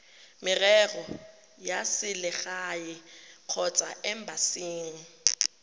merero ya selegae kgotsa embasing